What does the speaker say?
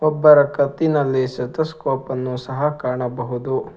ಒಬ್ಬರ ಕತ್ತಿನಲ್ಲಿ ಸೆತಸ್ಕೋಪ್ ಅನ್ನು ಸಹ ಕಾಣಬಹುದು.